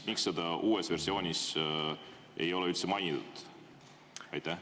Miks seda uues versioonis ei ole üldse mainitud?